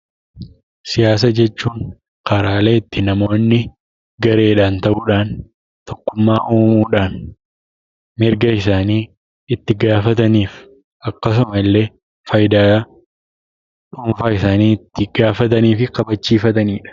Siyaasa jechuun karaalee itti namoonni gareedhaan ta'uudhaan, tokkummaa uumuudhaan mirga isaanii itti gaafatanii fi akkasuma illee faayidaa dhuunfaa isaanii itti gaafatanii fi kabachiifatanidha.